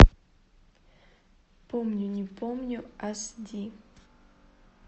помню не помню ас ди